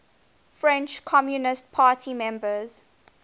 french communist party members